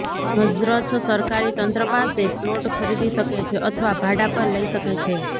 મ્ઝ્રછ સરકારી તંત્ર પાસે પ્લોટ ખરીદી શકે છે અથવા ભાડા પર લઈ શકે છે